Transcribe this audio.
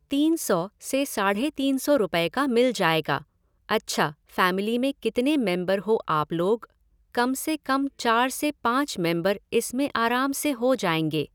तीन सौ से साढ़े तीन सौ रुपये का मिल जाएगा, अच्छा फ़ैमिली में कितने मेम्बर हो आप लोग, कम से कम चार से पाँच मेम्बर इसमें आराम से हो जाएगा